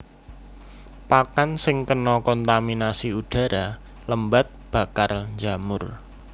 Pakan sing kena kontaminasi udhara lembab bakal njamur